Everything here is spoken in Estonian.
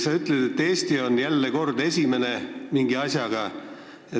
Sa ütlesid, et Eesti on jälle kord mingis asjas esimene.